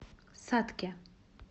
сатке